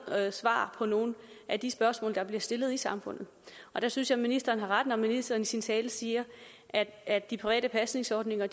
svar på nogle af de spørgsmål der bliver stillet i samfundet der synes jeg ministeren har ret når ministeren i sin tale siger at de private pasningsordninger